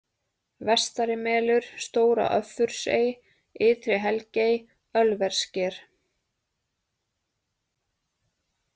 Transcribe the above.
Vestarimelur, Stóra-Öffursey, Ytri-Helgey, Ölvessker